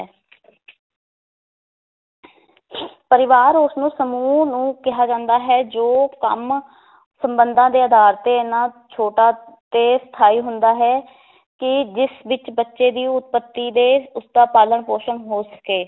ਪਰਿਵਾਰ ਉਸਨੂੰ ਸਮੂਹ ਨੂੰ ਕਿਹਾ ਜਾਂਦਾ ਹੈ ਜੋ ਕੰਮ ਸੰਬੰਧਾਂ ਦੇ ਅਧਾਰ ਤੇ ਇਹਨਾਂ ਛੋਟਾ ਤੇ ਸਥਾਈ ਹੁੰਦਾ ਹੈ ਕਿ ਜਿਸ ਵਿਚ ਬੱਚੇ ਦੀ ਉਤਪੱਤੀ ਤੇ ਉਸ ਦਾ ਪਾਲਣ ਪੋਸ਼ਣ ਹੋ ਸਕੇ